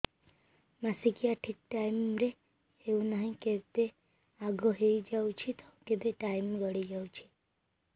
ମାସିକିଆ ଠିକ ଟାଇମ ରେ ହେଉନାହଁ କେବେ ଆଗେ ହେଇଯାଉଛି ତ କେବେ ଟାଇମ ଗଡି ଯାଉଛି